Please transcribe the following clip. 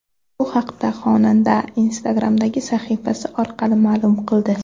Bu haqda xonanda Instagram’dagi sahifasi orqali ma’lum qildi.